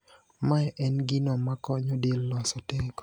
Mae en gino makonyo del loso teko.